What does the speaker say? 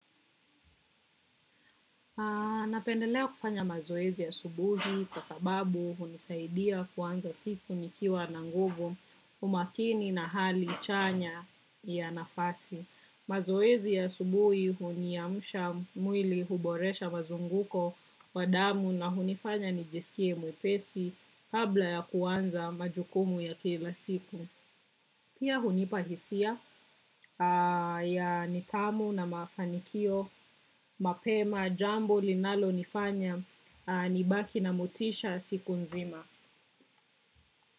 Napendelea kufanya mazoezi asubuhi kwa sababu hunisaidia kuanza siku nikiwa na nguvu, umakini na hali chanya ya nafasi. Mazoezi ya asubuhi huniamsha mwili, huboresha mazunguko wa damu na hunifanya nijisikie mwepesi kabla ya kuanza majukumu ya kila siku. Pia hunipa hisia ya nidhamu na mafanikio mapema, jambo linalo nifanya nibaki na motisha siku nzima.